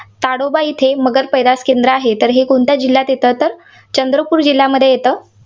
ताडोबा इथे मगर पैदास केंद्र आहे. तर हे कोणत्या जिल्ह्यात येते? तर चंद्रपूर जिल्ह्यामध्ये येते.